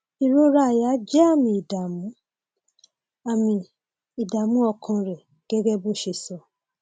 ìrora àyà jẹ àmì ìdààmú àmì àmì ìdààmú ọkàn rẹ gẹgẹ bó o ṣe sọ